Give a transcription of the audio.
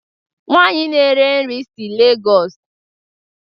Nwanyi na-ere nri si Lagos